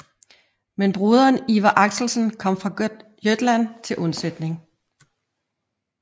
Men broderen Iver Axelsen kom fra Gotland til undsætning